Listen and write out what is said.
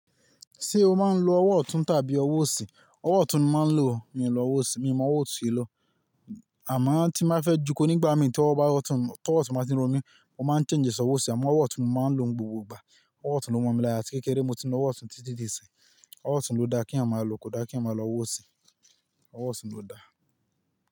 Ṣé o máa ń lo ọwọ́ ọ̀tún tàbí ọwọ́ òsì? Ọwọ́ ọ̀tún ni mo máa ń lò, mi ò lo ọwọ́ òsì, mi ò mọ ọwọ́ òsì lọ. Àmá tí má fẹ́ joko nígbà mìí tí ọwọ́ ọ̀tún bá ti ń ro mí, mo máa ń change e sí ọwọ́ òsì àmá ọwọ́ ọ̀tún ni mo máa ń lò igbogbo ìgbà. Ọwọ́ ọ̀tún ló mọ̀ mi lára, atí kékeré ni mo ti ń lo ọwọ́ ọ̀tún títí di ìsìn. Ọwọ́ ọ̀tún ló da kí èèyàn máa lọ kọ̀da kí èèyàn máa lọ ọwọ́ òsì, ọwọ́ ọ̀tún ló da.